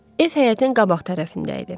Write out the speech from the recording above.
Ev həyətin qabaq tərəfində idi.